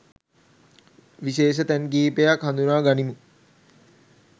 විශේෂ තැන් කිහිපයක් හඳුනා ගනිමු.